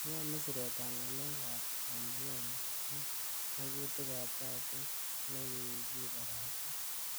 Iyomen siretab ngalek ab somanengung ak magutik ab kasit nekikibarasta.